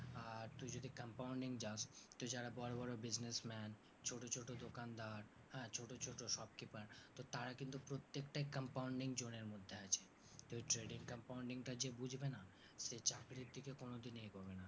আর তুই যদি compounding যাস তো যারা বড়ো বড়ো businessman ছোটো ছোটো দোকানদার হ্যাঁ ছোটো ছোটো shop keeper তো তারা কিন্তু প্রত্যেকটা compounder জোরের মধ্যে আছে কেও trading-compounding টা যে বুজবে না সে চাকরির দিকে এগোবে না